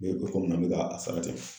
Be o kɔni na n be ka a sara te